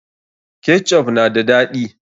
Ketchup na da daɗi.